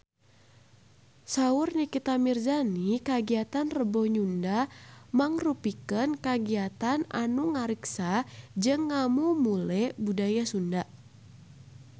Saur Nikita Mirzani kagiatan Rebo Nyunda mangrupikeun kagiatan anu ngariksa jeung ngamumule budaya Sunda